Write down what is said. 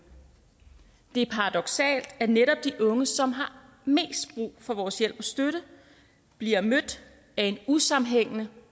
det er paradoksalt at netop de unge som har mest brug for vores hjælp og støtte bliver mødt af en usammenhængende